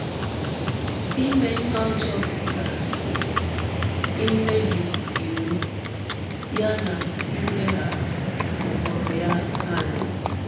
Ime ihe ọjọọ pụtara imebi iwụ ya na ileghara ụkpụrụ ya anya.